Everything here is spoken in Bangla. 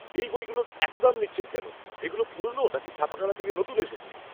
এই বইগুলোর এত দাম কেন নিচ্ছেন? এগুলো পুরনো নাকি ছাপাখানা থেকে নতুন এসেছে?